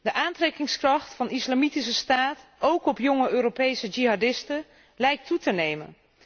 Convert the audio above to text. De aantrekkingskracht van de Islamitische staat, ook op jonge Europese Jihadisten, lijkt toe te nemen.